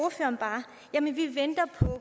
jeg min